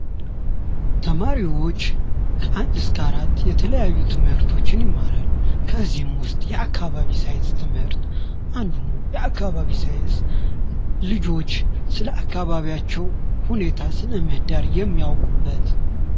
ተማሪዎች ከአንድ እስከ አራት የተለያዩ ትምህርቶች ይማራሉ። ከዚህ ንጉ ውስጥ የአካባቢ ሳይንስ ትምህርት አንዱ ነው የአካባቢ ሳይንስ ልጆች ስለአካባቢያቸው ስነ ምህዳር የሚያውቁበት።